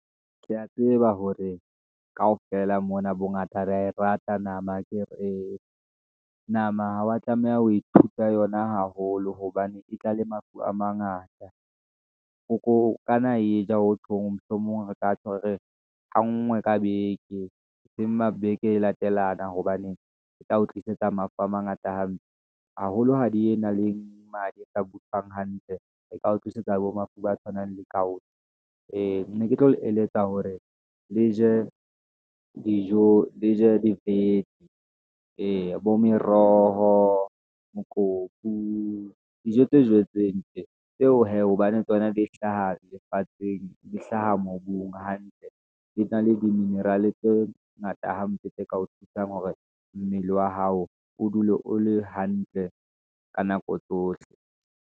Ke ya tseba hore kaofela mona bongata ba rata nama akere ee, nama ha wa tlameha ho ithuta yona haholo, hobane e tla le mafu a mangata. O ko okana wa e ja hotjhong mohlomong re ka tjho re re ha ngwe ka beke, eseng ma beke e latelana, hobane e tla o tlisetsa mafu a mangata hampe, haholo ha di e na le mane e sa butswang hantle, e tla tlisetsa bo mafu a tshwanang le gout-e, ee ne ke tlo le eletsa hore le je dijo, le je dibete, eya bo meroho, mokopu, dijo tse jetsweng tje. Tseo hee, hobane tsona di hlaha lefatsheng, di hlaha mobung hantle, di na le di-mineral tse ngata hampe, tse ka o thusang hore mmele wa hao, o dule o le hantle, ka nako tsohle.